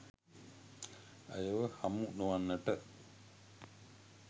ඇයව හමු නොවන්නට